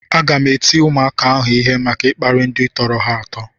Aga m eti ụmụaka ahụ ịhe maka ịkparị ndị tọrọ ha atọ